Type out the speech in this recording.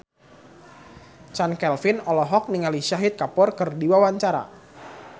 Chand Kelvin olohok ningali Shahid Kapoor keur diwawancara